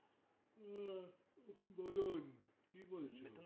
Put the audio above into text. হুম বলুন কি বলছিলেন